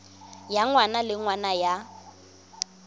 ya ngwaga le ngwaga ya